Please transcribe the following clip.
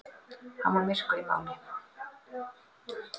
Hann var myrkur í máli.